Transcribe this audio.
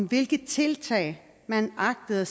hvilke tiltag man agtede at